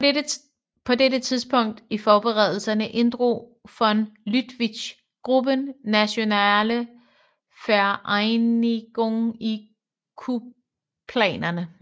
På dette tidspunkt i forberedelserne inddrog von Lüttwitz gruppen Nationale Vereinigung i kupplanerne